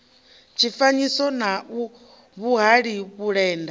tshifanyiso u na vhuhali vhulenda